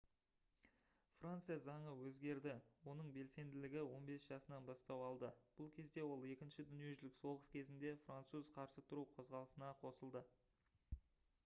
франция заңы өзгерді оның белсенділігі 15 жасынан бастау алды бұл кезде ол екінші дүниежүзілік соғыс кезінде француз қарсы тұру қозғалысына қосылды